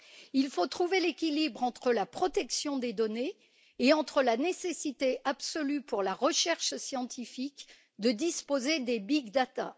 Il faut trouver l'équilibre entre la protection des données et la nécessité absolue pour la recherche scientifique de disposer des big data